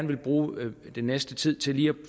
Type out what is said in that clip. vil bruge den næste tid til lige at